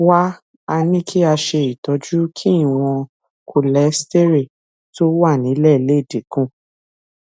wá a ní kí a ṣe itọju kí ìwòn kóléstẹrẹlì tó wà nílè lè dín kù